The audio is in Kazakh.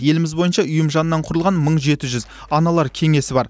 еліміз бойынша ұйым жанынан құрылған мың жеті жүз аналар кеңесі бар